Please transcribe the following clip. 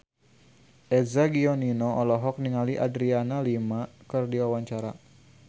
Eza Gionino olohok ningali Adriana Lima keur diwawancara